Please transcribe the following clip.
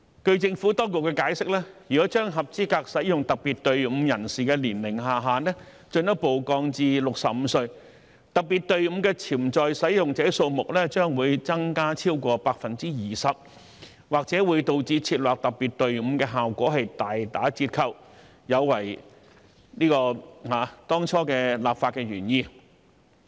據政府當局解釋，如果將合資格使用特別隊伍人士的年齡下限進一步降至65歲，特別隊伍的潛在使用者數目將會增加超過 20%， 或會導致設立特別隊伍的效果大打折扣，有違當初立法原意。